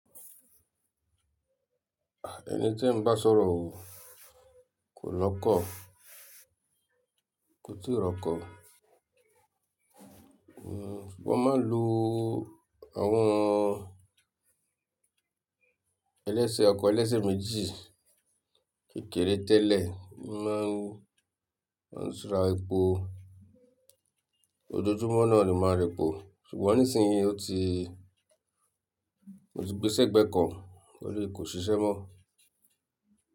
Eni tí ń bá sọ̀rọ̀ o, kò lọ́kọ̀ kò tìí rọkọ̀. Sùgbọ́n ma ń lo àwọn ọkọ̀ ẹlẹ́sẹ̀ méjì kékeré tẹ́lẹ̀ má ń súra epo. Ojoojúmọ́ náà ni máa ń repò, ṣùgbọ́n nísinsìnyí mó ti gbéṣẹ̀ gbẹ́ kan tóri kò ṣiṣẹ́ mọ́